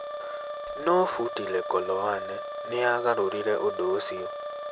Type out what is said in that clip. No Phuti Lekoloane nĩ aagarũrire ũndũ ũcio.